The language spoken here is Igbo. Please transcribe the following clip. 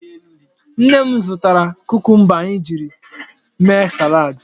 Nne m zụtara kukumba anyị ji mee salaadị.